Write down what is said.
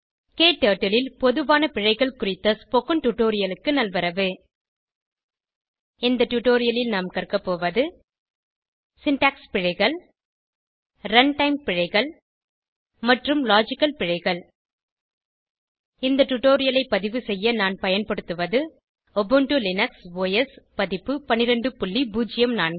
க்டர்ட்டில் ல் பொதுவான பிழைகள் குறித்த டுடோரியலுக்கு நல்வரவு இந்த டுடோரியலில் நாம் கற்க போவது சின்டாக்ஸ் பிழைகள் ரன்டைம் பிழைகள் மற்றும் லாஜிக்கல் பிழைகள் இந்த டுடோரியலை பதிவு செய்ய நான் பயன்படுத்துவது உபுண்டு லினக்ஸ் ஒஸ் பதிப்பு 1204